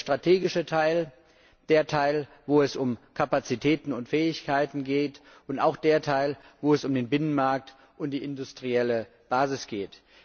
Der strategische Teil, der Teil, wo es um Kapazitäten und Fähigkeiten geht, und auch der Teil, wo es um den Binnenmarkt und die industrielle Basis geht.